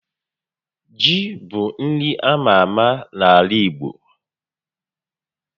Ji bụ nri ama ámá n'ala igbo